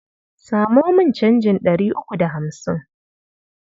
Samo min canjin ɗari uku da hamsin.